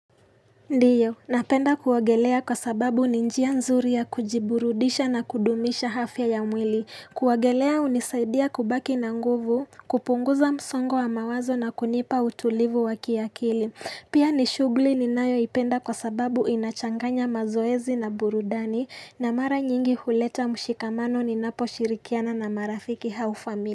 Ndio, napenda kuogelea kwa sababu ni njia nzuri ya kujiburudisha na kudumisha afya ya mwili. Kuogelea hunisaidia kubaki na nguvu, kupunguza msongo wa mawazo na kunipa utulivu wa kiakili. Pia ni shughuli ninayoipenda kwa sababu inachanganya mazoezi na burudani na mara nyingi huleta mshikamano ninaposhirikiana na marafiki au familia.